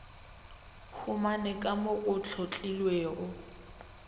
humane ka mo go hlotlilwego